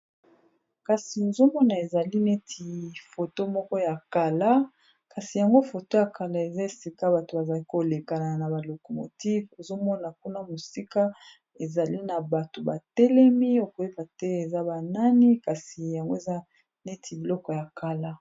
Kasi ozomona ezali neti foto moko ya kala kasi yango foto ya kala eza esika bato bazai kolekana na balocomotife ozomona kuna mosika, ezali na bato batelemi okoyeba te eza banani kasi yango eza neti biloko ya kala.